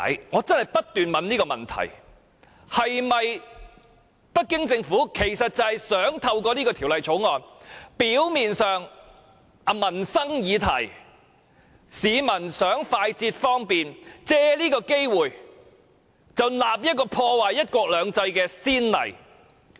我不斷問自己，是否北京政府想透過這項《條例草案》，借這個表面上是市民想更快捷方便的民生議題，開立破壞"一國兩制"的先例？